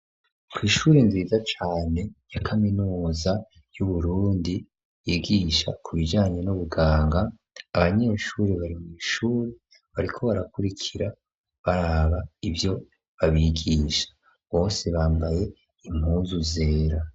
Kw'ishure nziza cane, ya kaminuza y'Uburundi, yigisha ku bijanye n'ubuganga, abanyeshure, bari mw'ishure, bariko barakurikira, baraba ivyo babigisha; bose bambaye impuzu zera.